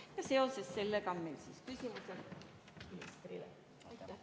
Ja seoses sellega on meil küsimused ministrile.